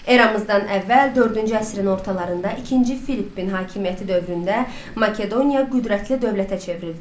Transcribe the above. Eramızdan əvvəl dördüncü əsrin ortalarında ikinci Filippin hakimiyyəti dövründə Makedoniya qüdrətli dövlətə çevrildi.